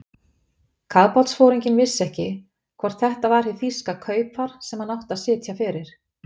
Kafbátsforinginn vissi ekki, hvort þetta var hið þýska kaupfar, sem hann átti að sitja fyrir.